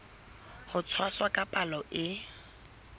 ho tshwasa ka palo e